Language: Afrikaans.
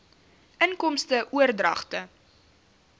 inkomste oordragte